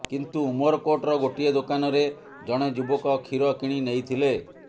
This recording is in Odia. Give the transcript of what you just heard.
କିନ୍ତୁ ଉମରକୋଟର ଗୋଟିଏ ଦୋକାନ ରେ ଜଣେ ଯୁବକ କ୍ଷୀର କିଣିନେଇଥିଲେ